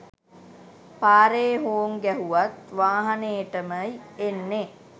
පාරේ හෝං ගැහුවත් වාහනේටමය් එන්නේ.